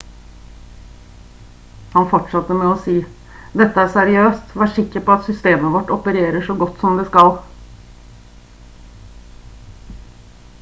han fortsatte med å si: «dette er seriøst. vær sikker på at systemet vårt opererer så godt som det skal»